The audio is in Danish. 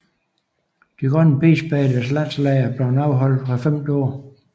De grønne pigespejderes landslejr er blevet afholdt hvert femte år